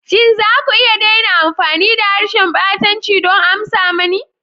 Shin za ku iya daina amfani da harshen ɓatanci don amsa mani?